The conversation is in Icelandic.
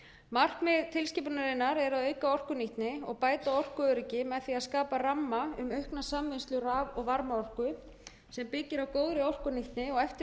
markmið tilskipunarinnar er að auka orkunýtni og bæta orkuöryggi með því að skapa ramma um aukna samvinnslu raf og varmaorku sem byggir á góðri orkunýtni og